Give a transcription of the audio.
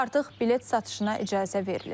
Artıq bilet satışına icazə verilib.